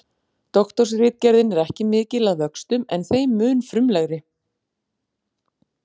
Doktorsritgerðin er ekki mikil að vöxtum en þeim mun frumlegri.